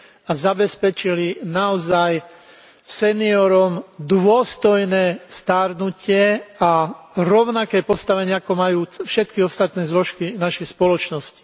a zabezpečili seniorom naozaj dôstojné starnutie a rovnaké postavenie, ako majú všetky ostatné zložky našej spoločnosti.